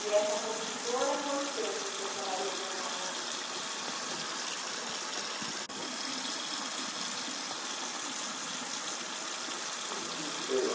E essa construtora, quanto tempo o senhor trabalhou com ela? Hum sei lá